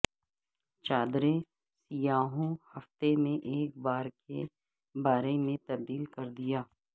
چادریں سیاحوں ہفتے میں ایک بار کے بارے میں تبدیل کر دیا